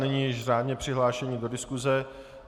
Nyní již řádně přihlášení do diskuse.